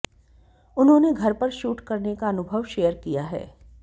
उन्होंने घर पर शूट करने का अनुभव शेयर किया है